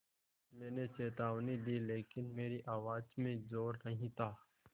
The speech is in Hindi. मैंने चेतावनी दी लेकिन मेरी आवाज़ में ज़ोर नहीं था